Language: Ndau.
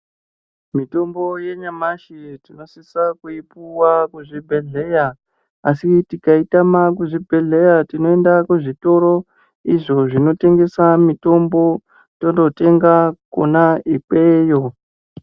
Mitombo yenyamashi tinosisa kuipuwa kuzvhibhedhleya asi tikaitama kuzvibhedhleya tinoende kuzvitoro izvo zvinotengese mitombo tonotenga kona ikweyo.